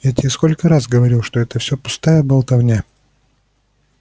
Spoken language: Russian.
я тебе сколько раз говорил что это все пустая болтовня